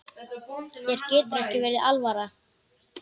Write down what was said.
Þér getur ekki verið alvara.